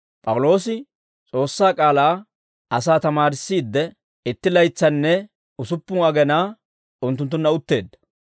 P'awuloosi S'oossaa k'aalaa asaa tamaarissiidde, itti laytsanne usuppun agenaa unttunttunna utteedda.